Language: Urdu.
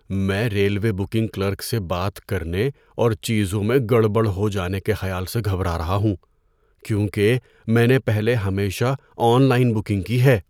میں ریلوے بکنگ کلرک سے بات کرنے اور چیزوں میں گڑبڑ ہو جانے کے خیال سے گھبرا رہا ہوں، کیونکہ میں نے پہلے ہمیشہ آن لائن بکنگ کی ہے۔